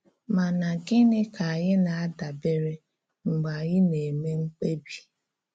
Ma nà gịnị ka anyị na-adàbèrè mgbe anyị na-eme mkpèbí?